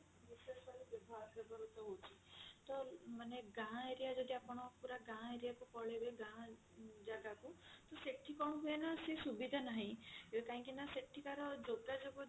ବିଶେଷ କରି ବ୍ୟବହାର ବ୍ୟବହୃତ ହଉଛି ତ ମାନେ ଗାଁ area ଯଦି ଆପଣ ପୁରା ଗାଁ area କୁ ପଳେଇବେ ଗାଁ ଜାଗା କୁ ତ ସେଠି କଣ ହୁଏ ନା ସେ ସୁବିଧା ନାହିଁ କାହିଁକି ନା ସେଠିକାର ଯୋଗାଯୋଗ